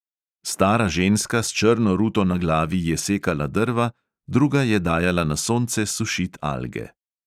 Stara ženska s črno ruto na glavi je sekala drva, druga je dajala na sonce sušit alge.